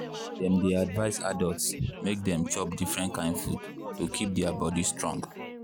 dem dey advise adults make dem chop different kain food to keep their body strong.